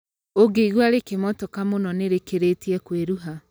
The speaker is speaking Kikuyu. ũngĩigua rĩkimotoka mũno nĩ rĩkĩrĩtie kwĩrua